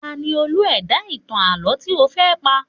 Ta ni Olú ẹ̀dá ìtàn àlọ́ tí ó fẹ́ pa?